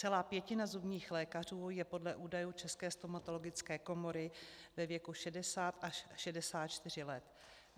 Celá pětina zubních lékařů je podle údajů České stomatologické komory ve věku 60 až 64 let.